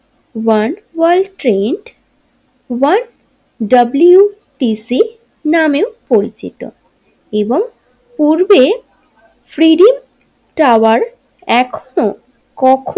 One world trade work WTC নামেও পরিচিত এবং পূর্বে ট্রেডিং টাওয়ার এখনো কখ।